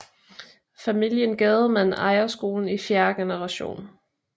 Familien Gademann ejer skolen i fjerde generation